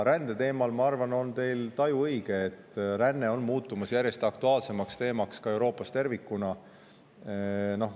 Rände teemal on, ma arvan, teie taju õige: ränne on muutumas järjest aktuaalsemaks teemaks ka Euroopas tervikuna.